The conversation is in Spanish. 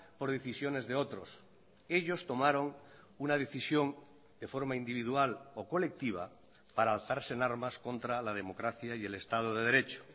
por decisiones de otros ellos tomaron una decisión de forma individual o colectiva para alzarse en armas contra la democracia y el estado de derecho